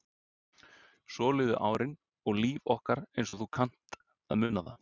Svo liðu árin og líf okkar eins og þú kannt að muna það.